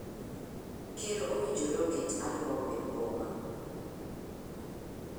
Ker owinjore oket Arua obed boma.